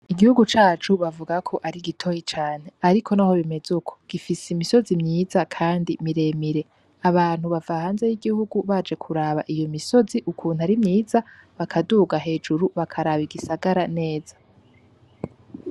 Igihugu cacu bavugako ari gitoyi cane ariko naho bimeze uko gifise imisozi myiza kandi miremire abantu bava hanze y'igihugu baje kuraba iyo misozi ukuntu ari myiza bakaduha hejuru bakaraba igisagara neza